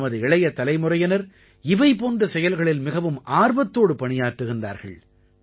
நமது இளைய தலைமுறையினர் இவை போன்ற செயல்களில் மிகவும் ஆர்வத்தோடு பணியாற்றுகிறார்கள்